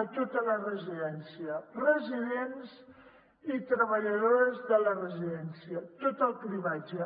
a tota la residència residents i treballadores de la residència tot el cribratge